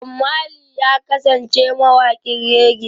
Bob Marley ya kasance mawaƙin reggae